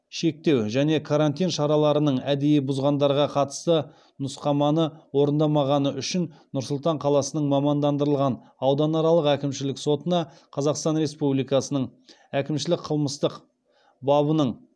шектеу және карантин шараларының әдейі бұзғандарға қатысты нұсқаманы орындамағаны үшін нұр сұлтан қаласының мамандандырылған ауданаралық әкімшілік сотына қазақстан республикасының әкімшілік қылмыстық бабының